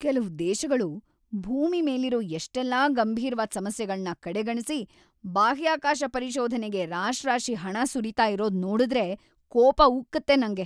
ಕೆಲ್ವು ದೇಶಗಳು ಭೂಮಿ ಮೇಲಿರೋ ಎಷ್ಟೆಲ್ಲ ಗಂಭೀರ್ವಾದ್ ಸಮಸ್ಯೆಗಳ್ನ‌ ಕಡೆಗಣ್ಸಿ ಬಾಹ್ಯಾಕಾಶ ಪರಿಶೋಧನೆಗೆ ರಾಶ್ರಾಶಿ ಹಣ ಸುರೀತಾ ಇರೋದ್‌ ನೋಡುದ್ರೆ ಕೋಪ ಉಕ್ಕುತ್ತೆ ನಂಗೆ.